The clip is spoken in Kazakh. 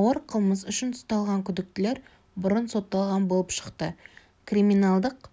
ауыр қылмыс үшін ұсталған күдіктілер бұрын сотталған болып шықты криминалдық